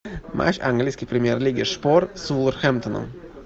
матч английской премьер лиги шпор с вулверхэмптоном